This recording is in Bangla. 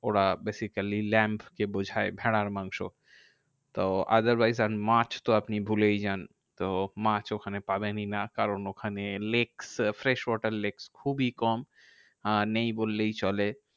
ওরা basically lamb কে বোঝায় ভেড়ার মাংস। তো otherwise and মাছ তো আপনি ভুলেই যান। তো মাছ ওখানে পাবেনই না কারণ ওখানে lake fresh water lake খুবই কম। আহ নেই বললেই চলে।